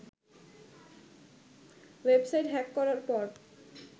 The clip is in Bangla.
ওয়েবসাইট হ্যাক করার পর